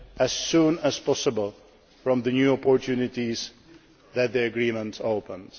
benefit as soon as possible from the new opportunities that the Agreement